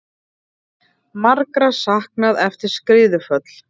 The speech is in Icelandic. Margra saknað eftir skriðuföll